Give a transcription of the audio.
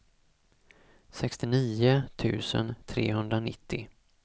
sextionio tusen trehundranittio